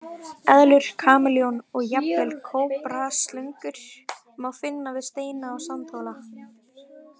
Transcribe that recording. Eðlur, kameljón og jafnvel kóbraslöngur má finna við steina og sandhóla.